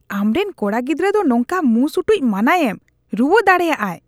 ᱟᱢᱨᱮᱱ ᱠᱚᱲᱟ ᱜᱤᱫᱽᱨᱟᱹ ᱫᱚ ᱱᱚᱝᱠᱟ ᱢᱩᱸ ᱥᱩᱴᱩᱡ ᱢᱟᱱᱟᱭᱮᱢ ᱾ ᱨᱩᱣᱟᱹ ᱫᱟᱲᱮᱭᱟᱜᱼᱟᱭ ᱾